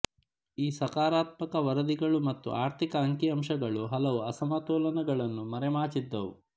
ಈ ಸಕಾರಾತ್ಮಕ ವರದಿಗಳು ಮತ್ತು ಅರ್ಥಿಕ ಅಂಕಿ ಅಂಶಗಳು ಹಲವು ಅಸಮತೋಲನಗಳನ್ನು ಮರೆಮಾಚಿದ್ದವು